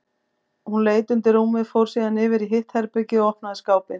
Hún leit undir rúmið, fór síðan yfir í hitt herbergið og opnaði skápinn.